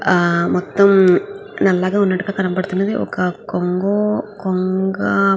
ఆ మొత్తం నల్లగా ఉన్నట్టుగా కనిపిస్తున్నది. ఒక కొంగు అ కొంగ --